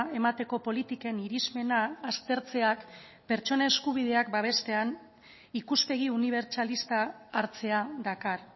emateko politiken irizpena aztertzeak pertsona eskubideak babestean ikuspegi unibertsalista hartzea dakar